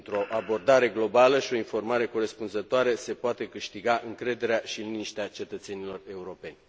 Printr o abordare globală și o informare corespunzătoare, se poate câștiga încrederea și liniștea cetățenilor europeni.